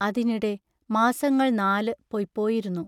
അതിനിടെ മാസങ്ങൾ നാലു പൊയ്പോയിരുന്നു.